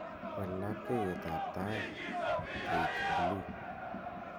wal labkeiyetab taik koik buluu